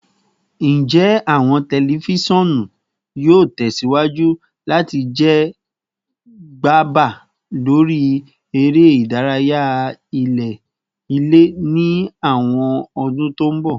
Njẹ awọn tẹlifisiọnu yoo tẹsiwaju lati jẹ gaba lori ere idaraya ile ni awọn ọdun to n bọ?